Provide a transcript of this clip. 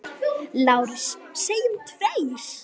LÁRUS: Segjum tveir!